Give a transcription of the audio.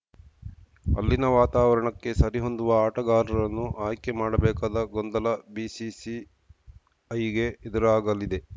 ಅಲ್ಲಿನ ವಾತಾವರಣಕ್ಕೆ ಸರಿಹೊಂದುವ ಆಟಗಾರರನ್ನು ಆಯ್ಕೆ ಮಾಡಬೇಕಾದ ಗೊಂದಲ ಬಿಸಿಸಿಐಗೆ ಎದುರಾಗಲಿದೆ